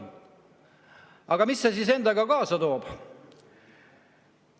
Aga mida see endaga kaasa toob?